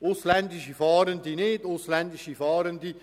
Nicht so die ausländischen Fahrenden.